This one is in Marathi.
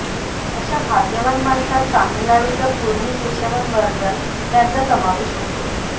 अशा भाग्यवान माणसांत तामिळनाडूच्या पूर्णी केशवन वर्दन यांचा समावेश होतो